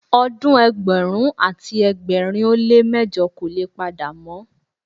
Odun ẹgbẹ̀rún àti ẹgbẹ̀rin ó lé mẹ́jọ kò le padà mọ́.